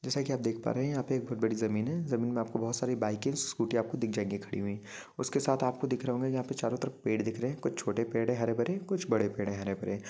जैसा के आप देख पा रह है यहा पे एक बहुत बड़ी ज़मीन है ज़मीन में आपको बुहत सारी बाइके स्कूटी आपको दिख जायँगे खड़ी हुई उसके साथ यहाँ पे दिख रहे होंगे आपको चारो तरफ पेड़ दिख रहे है कुछ छोटे पेड़ है हरे भरे कुछ बड़े पेड़ है हरे भरे ।